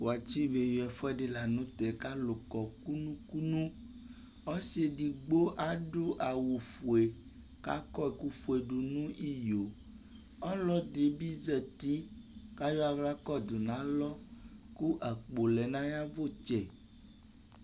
Wʋatsɩ be yui ɛfʋɛdɩ la nʋtɛ, k'alʋ kɔ kunu kunu : ɔsɩ edigbo adʋ awʋfue , k'akɔ ɛkʋfue dʋ nʋ iyo ;ɔlɔdɩ bɩ zati k'ayɔ ɛkʋ kɔdʋ n'alɔ , kʋ akpo lɛ n'ayavʋtsɛ